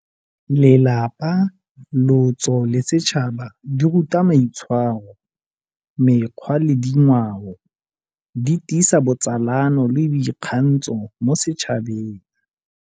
Lelapa, lotso le setšhaba di ruta maitshwaro, mekgwa le dingwao. Di tiisa botsalano le boikgantsho mo setšhabeng.